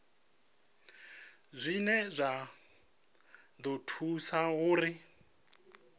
dzine dza ḓo thusa uri